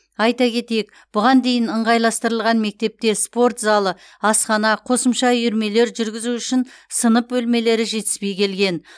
айта кетейік бұған дейін ыңғайластырылған мектепте спорт залы асхана қосымша үйірмелер жүргізу үшін сынып бөлмелері жетіспей келген